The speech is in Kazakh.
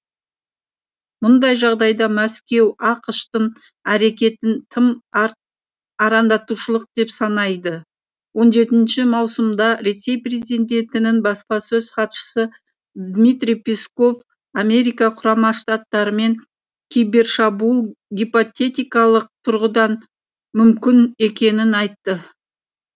мұндай жағдайда мәскеу ақш тың әрекеттерін тым арандатушылық деп санайды он жетінші маусымда ресей президентінің баспасөз хатшысы дмитрий песков америка құрама штаттарымен кибершабуыл гипотетикалық тұрғыдан мүмкін екенін айтты